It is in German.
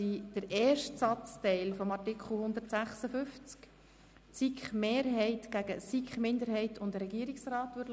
Für den ersten Satzteil des Artikels 156 stimmen wir über den Antrag der SiK-Mehrheit gegen den Antrag der SiK-Minderheit und des Regierungsrats ab.